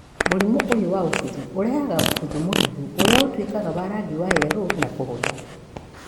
mũrĩmũ ũyũ wa ũbuthu ũrehaga ũbuthu mũhehu ũrĩa ũtuĩkaga wa rangi wa yeloo na kũhũtha